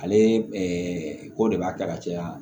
Ale ko de b'a kɛ ka caya